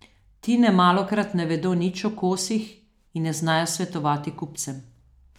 Ti nemalokrat ne vedo nič o kosih in ne znajo svetovati kupcem.